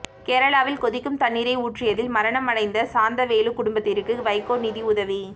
கேரளாவில் கொதிக்கும் தண்ணீரை ஊற்றியதில் மரணம் அடைந்த சாந்தவேலு குடும்பத்திற்கு வைகோ நிதி உதவி